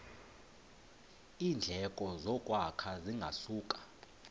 iindleko zokwakha zingasuka